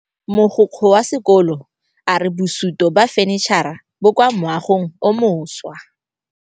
Mogokgo wa sekolo a re bosutô ba fanitšhara bo kwa moagong o mošwa.